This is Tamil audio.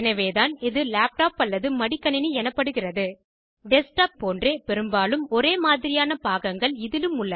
எனவேதான் இது லேப்டாப் அல்லது மடிகணினி எனப்படுகிறது டெஸ்க்டாப் கணினி போன்றே பெரும்பாலும் ஒரே மாதிரியான பாகங்கள் இதிலும் உள்ளன